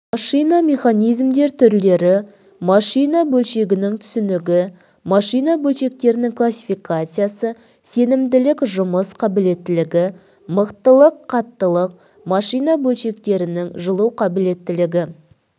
машина механизмдер түрлері машина бөлшегінің түсінігі машина бөлшектерінің классификациясы сенімділік жұмыс қабілеттілігі мықтылық қаттылық машина бөлшегінің жылу қабілеттілігі